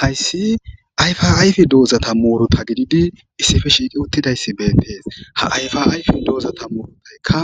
hayssi ayfa ayfi doozata muuruta gididi issife shiidi uttidayssi beentees ha yfa ayfi doozata muurudaykka